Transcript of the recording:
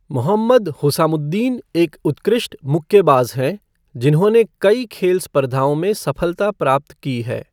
मोहम्मद हुसामुद्दीन एक उत्कृष्ट मुक्केबाज हैं, जिन्होंने कई खेल स्पर्धओं में सफलता प्राप्त की है।